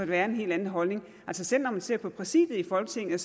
være en helt anden holdning selv når man ser på præsidiet i folketinget